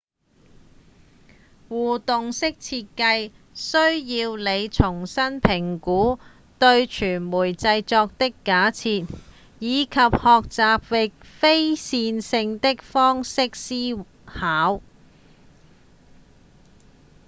互動式設計需要你重新評估對媒體製作的假設以及學習以非線性的方式思考